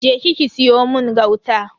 Je ki ki siyo mun gauta.